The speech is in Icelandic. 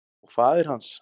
Og faðir hans.